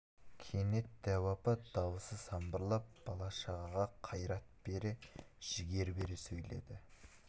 кенет дәу апа дауысы самбырлап бала-шағаға қайрат бере жігер бере сөйледі